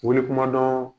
Wuli kumadɔn